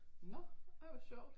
Nå ej hvor sjovt